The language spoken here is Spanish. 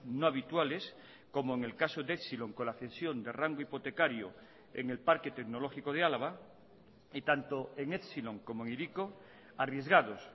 no habituales como en el caso de epsilon con la cesión de rango hipotecario en el parque tecnológico de álava y tanto en epsilon como en hiriko arriesgados